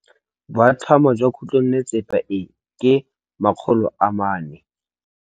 Boatlhamô jwa khutlonnetsepa e, ke 400.